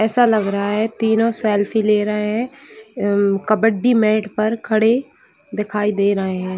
ऐसा लग रहा है तीनों सेल्फी ले रहें हैं अम कबड्डी मैट पर खड़े दिखाई दे रहे हैं ।